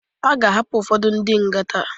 Aga ahapụ ụfodu ndi nga taa